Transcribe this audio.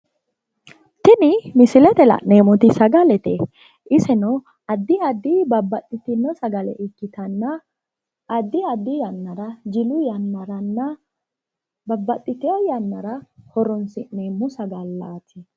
Tini misilete la'neemmoti sagalete iseno addi aadi babbaxxitino sagale ikkitanna addi addi yannara jilu yannaranna babbaxxitewo yannara horoonsi'neemmo sagallaati